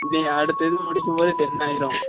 இனி அடுத்த இது முடிக்கும் போது ten ஆயிடும்